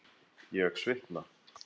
Ég svitna.